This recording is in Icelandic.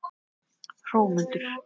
Hrómundur